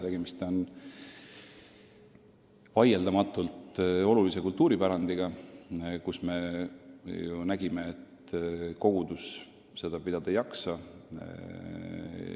Tegemist on vaieldamatult olulise kultuuripärandiga, aga oleme näinud, et kogudus seda pidada ei jaksa.